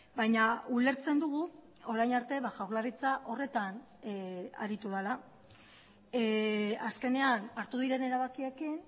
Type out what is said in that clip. baina ulertzen dugu orain arte jaurlaritza horretan aritu dela azkenean hartu diren erabakiekin